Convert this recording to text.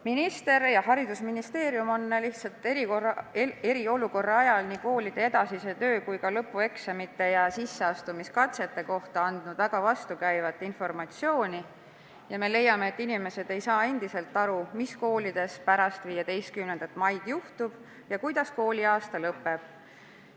Minister ja Haridus- ja Teadusministeerium on eriolukorra ajal andnud nii koolide edasise töö kui ka lõpueksamite ja sisseastumiskatsete kohta väga vastukäivat informatsiooni ning me leiame, et inimesed ei saa endiselt aru, mis koolides pärast 15. maid juhtuma hakkab ja kuidas kooliaasta lõpeb.